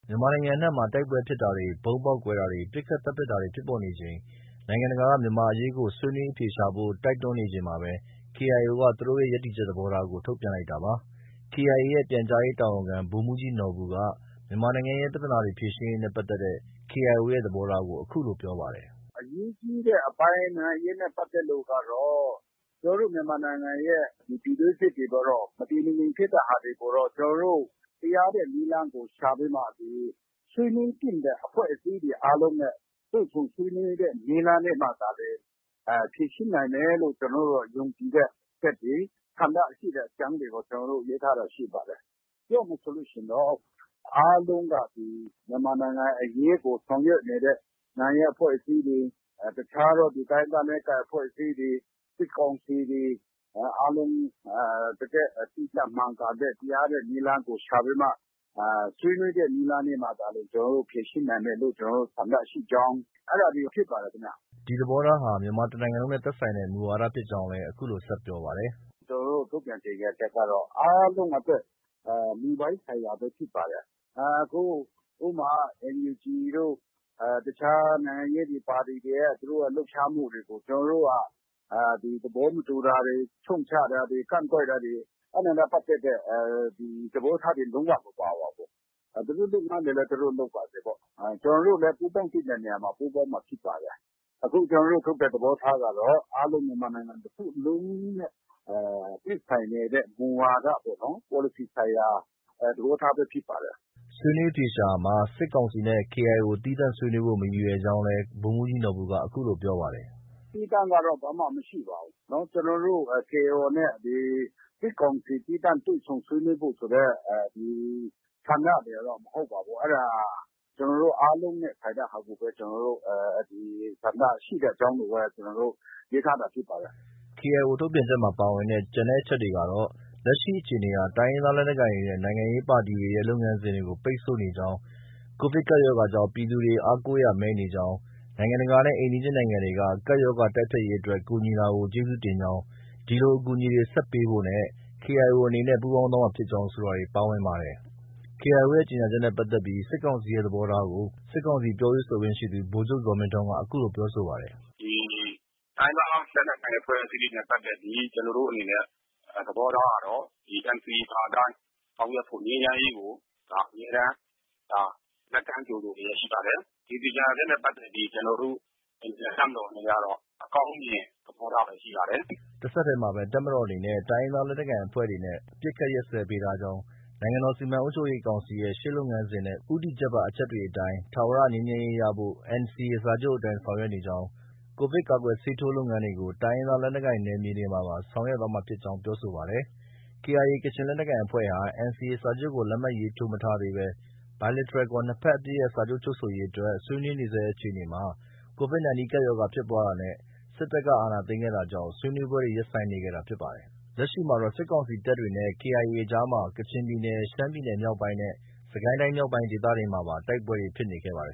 မြန်မာနိုင်ငံအနှံ့မှာ တိုက်ပွဲဖြစ်တာတွေ၊ ဗုံးပေါက်ကွဲတာတွေ၊ ပစ်ခတ်သတ်ဖြတ်တာတွေ ဖြစ်ပေါ်နေချိန် နိုင်ငံတကာက မြန်မာအရေးကို ဆွေးနွေးအဖြေရှာဖို့ တိုက်တွန်းနေချိန်မှာပဲ KIO က သူတို့ရဲ့ ရပ်တည်ချက် သဘောထားကို ထုတ်ပြန်လိုက်တာပါ။ KIA ရဲ့ ပြန်ကြားရေးတာဝန်ခံ ဗိုလ်မှုးကြီးနော်ဘူက မြန်မာနိုင်ငံရဲ့ ပြဿနာတွေဖြေရှင်းရေးနဲ့ပတ်သက်တဲ့ KIO ရဲ့သဘောထားကို အခုလို ပြောပါတယ်။ “ အရေးကြီးတဲ့အပိုင်း နိုင်ငံရေးနဲ့ ပတ်သက်တဲ့ အပိုင်းကတော့ ကျနော်တို့ မြန်မာနိုင်ငံရဲ့ ပြည်တွင်းစစ်တွေကိုတော့ မတည်မငြိမ်ဖြစ်တဲ့ဟာတွေကိုတော့ ကျနော်တို့ တရားတဲ့နည်းလမ်းကို ရှာပြီးမှ ဒီ ဆွေးနွေးသင့်တဲ့ အဖွဲ့အစည်းတွေအားလုံးနဲ့ တွေ့ဆုံဆွေးနွေးတဲ့ နည်းလမ်းနဲ့မှသာလျှင် ဖြေရှင်းနိုင်မယ်လို့ ကျနော်တို့တော့ ယုံကြည်တဲ့ အချက်တွေ၊ ဆန္ဒရှိတဲ့အကြောင်းတွေကို ကျနော်တို့ ရေးထားတာရှိပါတယ်။ ပြောရမယ်ဆိုလို့ ရှိရင်တော့ အားလုံးက ဒီ မြန်မာနိုင်ငံအရေးကို ဆောင်ရွက်နေတဲ့ နိုင်ငံရေးအဖွဲ့အစည်းတွေ၊ တခြားသော တိုင်းရင်းသားလက်နက်ကိုင်အဖွဲ့အစည်းတွေ၊ စစ်ကောင်စီတွေ၊ အားလုံးတကယ့် တိကျမှန်ကန်တဲ့ တရားတဲ့ နည်းလမ်းကို ရှာပြီးမှ ဆွေးနွေးတဲ့နည်းလမ်းမှသာလျှင် ဖြေရှင်းနိုင်မယ်လို့ ကျနော်တို့ ဆန္ဒရှိကြောင်း အဲဒါတွေ ဖြစ်ပါတယ်ခင်ဗျ။ ” ဒီသဘောထားဟာ မြန်မာတစ်နိုင်ငံလုံးနဲ့ သက်ဆိုင်တဲ့မူဝါဒဖြစ်ကြောင်းလည်း အခုလို ဆက်ပြောပါတယ်။ “ကျနော်တို့ ထုတ်ပြန်ကြေညာချက်ကတော့ အားလုံးအတွက် မူပိုင်းဆိုင်ရာပဲ ဖြစ်ပါတယ်။ အခု ဥပမာ NUG တို့ တခြားနိုင်ငံရေးပါတီတွေရဲ့ သူတို့ လှုပ်ရှားမှုတွေကို ကျနော်တို့က သဘောမတူတာတွေ၊ ရှုတ်ချတာတွေ၊ ကန့်ကွက်တာတွေ အဲဒါနဲ့ပတ်သက်တဲ သဘောထားတွေ လုံး၀ မပါပါဘူး။ သူတို့ လုပ်ငန်းတွေလည်း သူတို့ လုပ်ပါစေပေါ့။ ကျနော်တို့လည်း ပူးပေါင်းသင့်တဲ့နေရာမှာ ပူးပေါင်းမှာ ဖြစ်ပါတယ်။ အခု ကျနော်တို့ ထုတ်တဲ့ သဘောထားကတော့ အားလုံး မြန်မာနိုင်ငံ တစ်ခုလုံးနဲ့ သက်ဆိုင်နေတဲ့ မူဝါဒပေါ့နော်။ ပေါ်လစီဆိုင်ရာ သဘောထားပဲ ဖြစ်ပါတယ်။ ” ဆွေးနွေးအဖြေရှာရာမှာ စစ်ကောင်စီနဲ့ KIO သီးသန့်ဆွေးနွေးဖို့ မရည်ရွယ်ကြောင်းလည်း ဗိုလ်မှုးကြီးနော်ဘူက အခုလို ပြောပါတယ်။ “ သီးသန့်ကတော့ ဘာမှ မရှိပါဘူး။ ကျနော်တို့ KIO နဲ့ ဒီ စစ်ကောင်စီ သီးသန့်တွေ့ဆုံဆွေးနွေးဖို့ ဆိုတဲ့ ဆန္ဒတွေကတော့ မဟုတ်ပါဘူး။ အဲဒါ ကျနော်တို့ အားလုံးနဲ့ ဆိုင်တဲ့ဟာကိုပဲ ကျနော်တို့ ဆန္ဒရှိတဲ့အကြောင်းကို ရေးထားတာဖြစ်ပါတယ်။” KIO ထုတ်ပြန်ချက်မှာ ပါဝင်တဲ့ ကျန်အချက်တွေကတော့ လက်ရှိအခြေအနေဟာ တိုင်းရင်းသားလက်နက်ကိုင်တွေနဲ့ နိုင်ငံရေးပါတီတွေရဲ့ နိုင်ငံရေးလုပ်ငန်းတွေ ပိတ်ဆို့နေကြောင်း၊ Covid ကပ်ရောဂါကြောင့် ပြည်သူတွေ အားကိုးရာမဲ့နေကြောင်း၊ နိုင်ငံတကာနဲ့ အိမ်နီးချင်းတွေက ကပ်ရောဂါတိုက်ဖျက်ရေးအတွက် ကူညီတာကို ကျေးဇူးတင်ကြောင်း၊ ဒီလိုအကူအညီတွေ ဆက်ပေးဖို့နဲ့ KIO အနေနဲ့ ပူးပေါင်းသွားမှာဖြစ်ကြောင်း ဆိုတာတွေ ပါဝင်ပါတယ်။ KIO ရဲ့ ကြေညာချက်နဲ့ပတ်သက်ပြီး စစ်ကောင်စီရဲ့ သဘောထားကို စစ်ကောင်စီပြောရေးဆိုခွင့်ရှိသူ ဗိုလ်ချုပ်ဇော်မင်းထွန်း အခုလို ပြောဆိုပါတယ်။ “ တိုင်းရင်းသားလက်နက်ကိုင်အဖွဲ့အစည်းတွေနဲ့ပတ်သက်ပြီး ကျနော်တို့အနေနဲ့ သဘောထားကတော့ NCA ပါအတိုင်း ဆောင်ရွက်ဖို့၊ ငြိမ်းချမ်းရေးကို အမြဲတမ်း လက်ကမ်းကြိုဆိုလျှက် ရှိပါတယ်။ ဒီကြေညာချက်နဲ့ ပတ်သက်ပြီး ကျနော်တို့ အနေနဲ့ တပ်မတော်အနေနဲ့ကတော့ အကောင်းမြင်သဘောထားပဲ ရှိပါတယ်။” တဆက်တည်းမှာပဲ တပ်မတော်အနေနဲ့ တိုင်းရင်းသားလက်နက်ကိုင်အဖွဲ့တွေနဲ့ အပစ်အခတ် ရပ်စဲပေးထားကြောင်း၊ နိုင်ငံတော် စီမံအုပ်ချုပ်ရေးကောင်စီရဲ့ ရှေ့လုပ်ငန်းစဉ်နဲ့ ဦးတည်ချက်ပါ အချက်တွေ အတိုင်း ထာဝရငြိမ်းချမ်းရေးဖို့ NCA စာချုပ်အတိုင်း ဆောင်ရွက်နေကြောင်း၊ Covid ကာကွယ်ဆေးထိုး လုပ်ငန်း တွေကို တိုင်းရင်းသားလက်နက်ကိုင်နယ်မြေတွေမှာပါ ဆောင်ရွက်သွားမှာဖြစ်ကြောင်း ပြောဆိုပါတယ်။ KIA ကချင်လက်နက်ကိုင်အဖွဲ့ဟာ NCA စာချုပ်ကို လက်မှတ် ရေးထိုးမထားသေးဘဲ Bilateral ခေါ် နှစ်ဘက်အပစ်ရပ်စာချုပ် ချုပ်ဆိုရေးအတွက် ဆွေးနွေးနေဆဲအခြေအနေမှာ Covid 19 ကပ်ရောဂါဖြစ်ပွားတာနဲ့ စစ်တပ်က အာဏာသိမ်းခဲ့တာကြောင့် ဆွေးနွေးပွဲတွေ ရပ်ဆိုင်းနေခဲ့တာ ဖြစ်ပါတယ်။ လက်ရှိမှာတော့ စစ်ကောင်စီတပ်နဲ့ KIA အကြားမှာ ကချင်ပြည်နယ်၊ ရှမ်းပြည်နယ်မြောက်ပိုင်းနဲ့ စစ်ကိုင်းတိုင်း မြောက်ပိုင်းဒေသတွေမှာပါ တိုက်ပွဲတွေ ဖြစ်နေခဲ့ပါတယ်